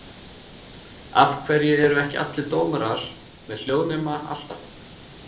Af hverju eru ekki allir dómarar með hljóðnema alltaf?